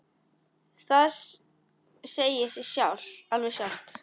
Það segir sig alveg sjálft.